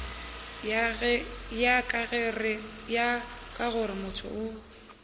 ya ka gore motho o